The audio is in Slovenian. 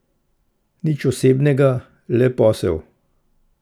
Nič osebnega, le posel.